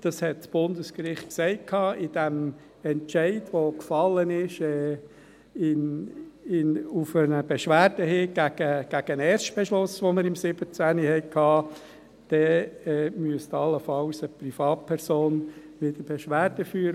dies hat das Bundesgericht gesagt im Entscheid, der auf eine Beschwerde hin gegen den Erstbeschluss gefallen ist, den wir im Jahr 2017 hatten –, müsste allenfalls wieder eine Privatperson Beschwerde führen.